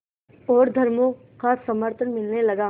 और धर्मों का समर्थन मिलने लगा